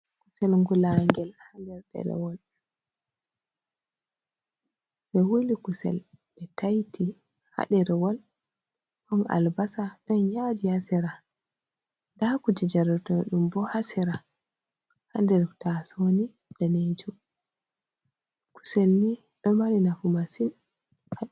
Kusel gulaangel haa nder ɗerewol, ɓe wuli kusel ɓe tayti haa nder ɗerewol. Ɗon albasa, ɗon yaaji haa sera, ndaa kuje jaratoɗum bo haa sera haa nder tasowo daneejum. Kusel ni ɗo mari nafu masin.